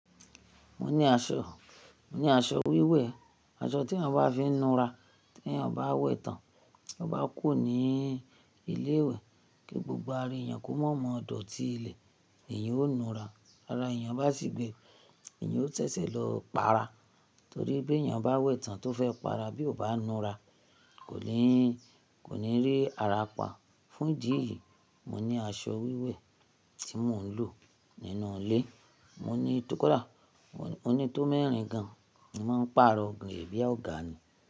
Mo ní aṣọ, mo ní aṣọ wíwẹ̀, aṣọ tí ènìyàn maá fi ń nù ra, tí èeyan bá wẹ̀ tán, to bá kùro ní ilé ìwẹ̀ kí gbogbo ara èeyàn kó mọ̀ mọ̀ dọ̀tí ilẹ̀, èyí ó nùra. Ti ara èeyan bá sì gbe, èyí ó sesẹ́ lọ para. Torí bí ènìyàn bá wẹ̀ tán tó fẹ́ paara bí ó bá nùra, kò ní, kò ní rí ara pa. Fún ìdí èyí, mo ní aṣọ wíwẹ̀ tí mò ń lò nínú ilé. Mo ní tó kọ da, mo ní tó mẹ́rin gan. Mo máa ń pàrọ̀ ge, bí oọ̀gá ni.